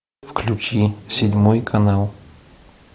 включи седьмой канал